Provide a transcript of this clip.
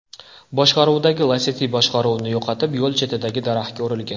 boshqaruvidagi Lacetti boshqaruvni yo‘qotib, yo‘l chetidagi daraxtga urilgan.